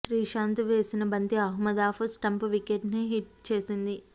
శ్రీశాంత్ వేసిన బంతి Ahmed off stump వికెట్ను హిట్ చేసింది